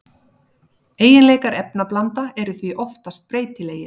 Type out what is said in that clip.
Eiginleikar efnablanda eru því oftast breytilegir.